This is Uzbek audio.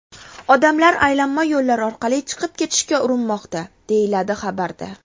Odamlar aylanma yo‘llar orqali chiqib ketishga urinmoqda”, deyiladi xabarda.